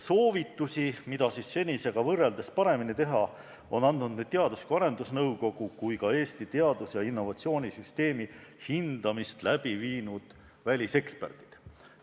Soovitusi, mida senisega võrreldes paremini teha, on andnud nii Teadus- ja Arendusnõukogu kui ka Eesti teadus- ja innovatsioonisüsteemi hindamist läbi viinud väliseksperdid.